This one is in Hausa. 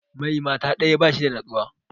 Mai mata ɗaya ba shi da nutsuwa